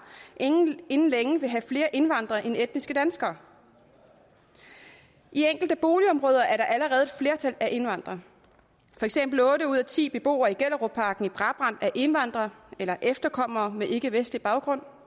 inden længe vil have flere indvandrere end etniske danskere i enkelte boligområder er der allerede et flertal af indvandrere for eksempel er otte ud af ti beboere i gellerupparken i brabrand indvandrere eller efterkommere med ikkevestlig baggrund